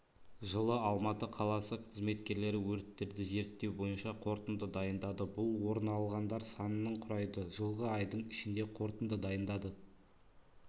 жылы алматы қаласы қызметкерлері өрттерді зерттеу бойынша қорытынды дайындады бұл орын алғандар санының құрайды жылғы айдың ішінде қорытынды дайындады